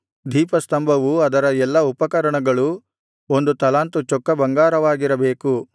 ದೀಪಸ್ತಂಭವೂ ಅದರ ಎಲ್ಲಾ ಉಪಕರಣಗಳೂ ಒಂದು ತಲಾಂತು ಚೊಕ್ಕ ಬಂಗಾರವಾಗಿರಬೇಕು